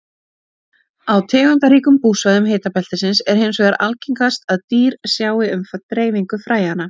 Á tegundaríkum búsvæðum hitabeltisins er hins vegar algengast að dýr sjái um dreifingu fræjanna.